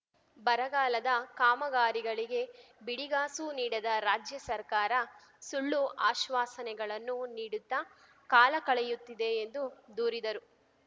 ಬರಗಾಲದ ಕಾಮಗಾರಿಗಳಿಗೆ ಬಿಡಿಗಾಸು ನೀಡದ ರಾಜ್ಯ ಸರ್ಕಾರ ಸುಳ್ಳು ಆಶ್ವಾಸನೆಗಳನ್ನು ನೀಡುತ್ತಾ ಕಾಲ ಕಳೆಯುತ್ತಿದೆ ಎಂದು ದೂರಿದರು